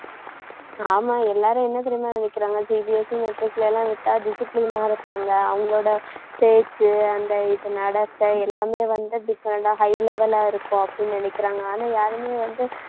ஆமா எல்லாரும் என்ன தெரியுமா நினைக்குறாங்க, CBSEmatric ல எல்லாம் விட்டா discipline ஆ இருப்பாங்க அவங்களோட பேச்சு அந்த இது நடத்தை எல்லாமே வந்து different ஆ high level ஆ இருக்கும் அப்படின்னு நினைக்குறாங்க ஆனா யாருமே வந்து